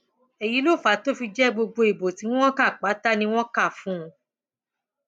èyí ló fà á tó fi jẹ gbogbo ìbò tí wọn kà pátá ni wọn kà fún un